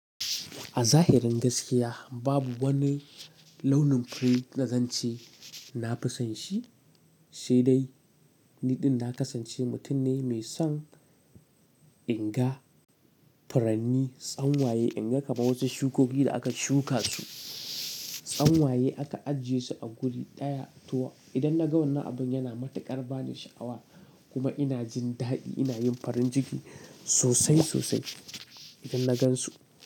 A zahirin gaskiya babu wani launin fure na zance. Na fi son shi, sai dai ni ɗin na kasance mutum ne mai son inga, furanni, tsanwaye inga kaman wasu shukoki da aka shuka su. Tsanwaye aka ajiye su a guri ɗaya, to idan na ga wannan abin yana matuƙar bani sha'awa kuma ina jin daɗi ina yin farin jiki sosai-sosai idan na gan su.